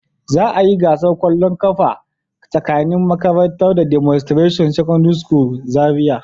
Za a yi gasar kwallon kafa tsakanin makarantara da "Demonstration secondary school" Zariya